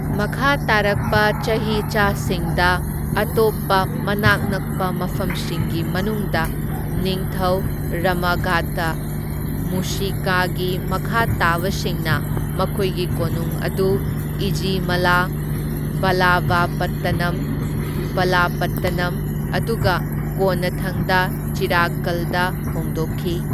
ꯃꯈꯥ ꯇꯥꯔꯛꯄ ꯆꯍꯤꯆꯥꯁꯤꯡꯗ, ꯑꯇꯣꯞꯄ ꯃꯅꯥꯛ ꯅꯛꯄ ꯃꯐꯝꯁꯤꯡꯒꯤ ꯃꯅꯨꯡꯗ, ꯅꯤꯡꯊꯧ ꯔꯥꯃꯥꯘꯥꯇꯥ ꯃꯨꯁꯤꯀꯥꯒꯤ ꯃꯈꯥ ꯇꯥꯕꯁꯤꯡꯅ ꯃꯈꯣꯏꯒꯤ ꯀꯣꯅꯨꯡ ꯑꯗꯨ ꯏꯓꯤꯃꯥꯂꯥ, ꯚꯥꯂꯥꯚꯥꯄꯠꯇꯅꯝ ꯚꯥꯂꯥꯄꯠꯇꯅꯝ, ꯑꯗꯨꯒ ꯀꯣꯟꯅꯊꯪꯗ ꯆꯤꯔꯥꯛꯀꯜꯗ ꯍꯣꯡꯗꯣꯛꯈꯤ꯫